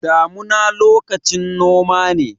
Damuna lokacin noma ne.